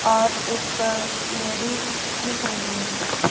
और एक लेडिस दिख रही है।